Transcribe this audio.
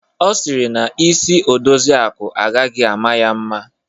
Ọ sịrị na isi Odoziakụ agaghị ama ya mma.